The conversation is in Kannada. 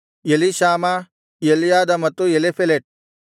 ಎಲೀಷಾಮ ಎಲ್ಯಾದ ಮತ್ತು ಎಲೀಫೆಲೆಟ್